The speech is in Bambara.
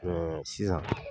sisan